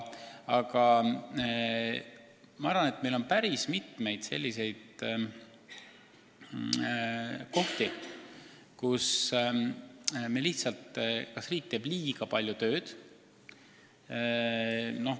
Samas on päris palju selliseid kohti, kus riik teeb liiga palju tööd.